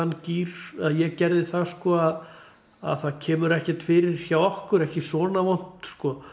þann gír eða ég gerði það sko að að það kemur ekkert fyrir hjá okkur ekki svona vont